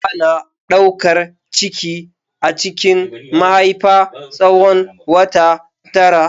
Ana daukar ciki a cikin mahaifa tsawon wata tara.